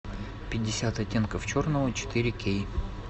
пятьдесят оттенков черного четыре кей